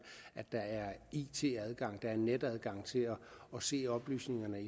at der er it adgang at der er netadgang til at se oplysningerne